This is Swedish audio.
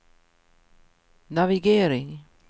navigering